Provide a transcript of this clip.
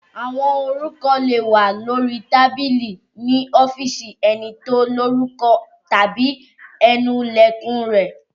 Àwo orúkọ lè wà lórí tábìlì ní ọ́fíìsì ẹni tí ó lorúkọ tàbí ẹnu Ilẹ̀kùn rẹ̀